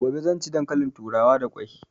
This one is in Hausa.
Gobe zan ci dankalin turawa da kwai